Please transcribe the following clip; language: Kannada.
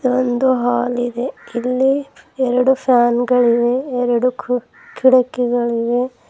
ಒಂದು ಹಾಲ್ ಇದೆ ಇಲ್ಲಿ ಎರಡು ಫ್ಯಾನ್ ಗಳಿವೆ ಎರಡು ಕು ಕಿಡಕಿಗಳಿವೆ.